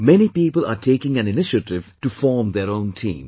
Many people are taking an initiative to form their own teams